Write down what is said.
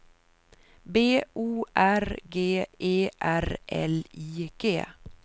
B O R G E R L I G